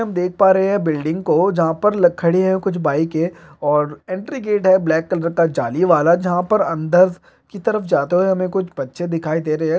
हम देख पा रहे है बिल्डिंग को जहां पर ल खड़ी है कुछ बाइके और एंट्री गेट है ब्लैक कलर का जाली वाला जहां पर अंदर की तरफ जाते हुए हमे कुछ बच्चे दिखाई दे रहे है।